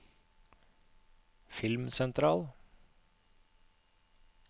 filmsentral